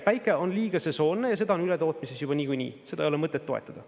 Päike on liiga sesoonne ja seda on ületootmises juba niikuinii, seda ei ole mõtet toetada.